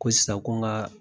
Ko sisan ko n ka